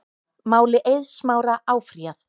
Máli Eiðs Smára áfrýjað